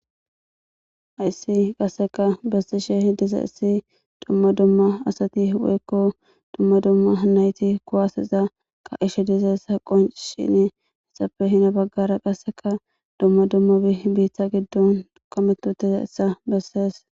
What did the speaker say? Hayssi qasseka bessishe diza issi dumma dumma asati woykko dumma dumma nayti kuwaaseza ka'ishe diza eta qoncishine etappe hina baggara qasseka dumma dumma biiththa giddon qommeti uttida issa bessees.